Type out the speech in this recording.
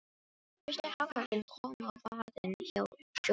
Fyrsti hákarlinn kom á vaðinn hjá Jórunni.